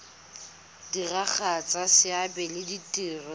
diragatsa seabe le ditiro tsa